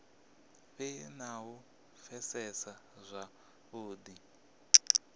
vhe na u pfesesa zwavhudi